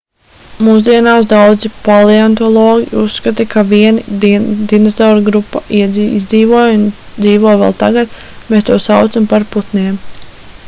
mūsdienās daudzi paleontologi uzskata ka viena dinozauru grupa izdzīvoja un dzīvo vēl tagad mēs tos saucam par putniem